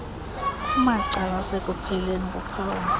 kumacala asekupheleni kuphawu